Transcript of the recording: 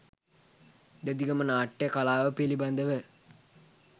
දෙදිගම නාට්‍ය කලාව පිළිබඳව